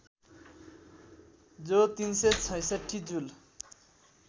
जो ३६६ जुल